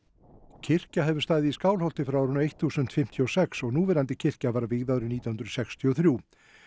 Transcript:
kirkja hefur staðið í Skálholti frá árinu þúsund fimmtíu og sex og núverandi kirkja var vígð árið nítján hundruð sextíu og þrjú